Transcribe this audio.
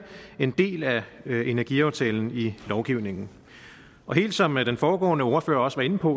en del af energiaftalen i lovgivningen helt som den foregående ordfører også var inde på